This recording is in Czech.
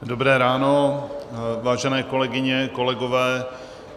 Dobré ráno, vážené kolegyně, kolegové.